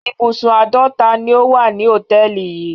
Ibùsùn àádọ́ta ni ó wà ní hòtẹ́ẹ́lì yìí.